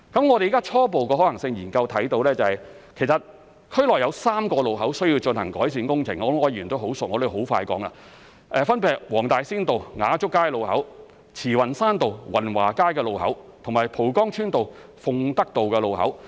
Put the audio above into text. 我們現時在初步的可行性研究中看到，其實區內有3個路口需要進行改善工程——我相信柯議員十分熟悉，我會很快地說——分別是黃大仙道雅竹街路口、慈雲山道雲華街路口及蒲崗村道鳳德道路口。